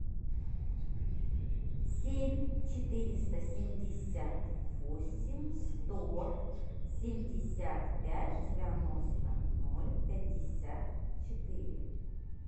семь четыреста семьдесят восемь сто семьдесят пять девяносто ноль пятьдесят четыре